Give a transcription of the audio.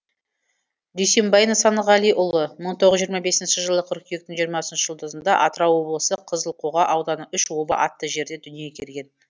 дүйсенбай нысанғалиұлы мың тоғыз жүз жиырма бесінші жылы қыркүйектің жиырмасыншы жұлдызында атырау облысы қызылқоға ауданы үш оба атты жерде дүниеге келген